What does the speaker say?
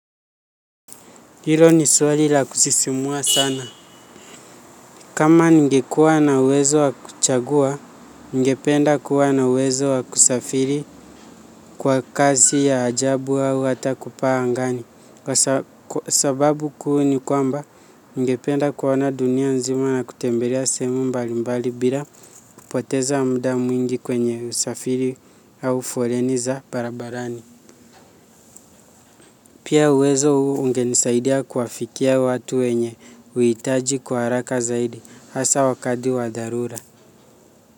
Hilo ni swali la kusisimua sana. Kama ningekuwa na uwezo wa kuchagua, ningependa kuwa na uwezo wa kusafiri kwa kazi ya ajabu au hata kupaa angani. Kwa sababu kuu ni kwamba, ningependa kuona dunia nzima na kutembelea sehemu mbalimbali bila kupoteza muda mwingi kwenye usafiri au foleni za barabarani. Pia uwezo huu ungenisaidia kuwafikia watu wenye, uhitaji kwa haraka zaidi, hasaa wakati wa dharura.